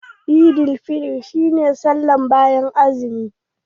Eidil fitr shi ne sallah bayan azumi.